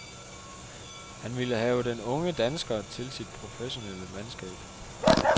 Han ville have den unge dansker til sit professionelle mandskab.